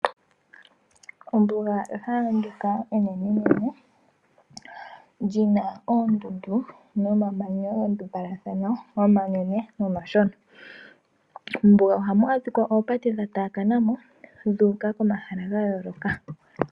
Ombuga ehala ndoka enene nene lina oondundu nomamanya gandumbalathana omanene nomashona. Mombuga ohamu adhikwa oopate dhataakana mo dhuuka komahala gayooloka.